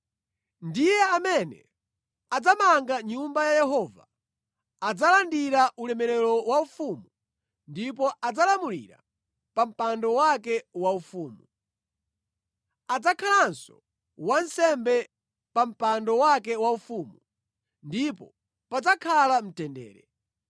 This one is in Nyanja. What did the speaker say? Ndiye amene adzamange Nyumba ya Yehova, adzalandira ulemerero waufumu ndipo adzalamulira pa mpando wake waufumu. Adzakhalanso wansembe pa mpando wake waufumu. Ndipo padzakhala mtendere.’